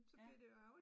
Ja